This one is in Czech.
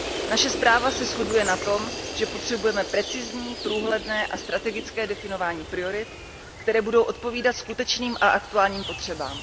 Naše zpráva se shoduje na tom, že potřebujeme precizní, průhledné a strategické definování priorit, které budou odpovídat skutečným a aktuálním potřebám.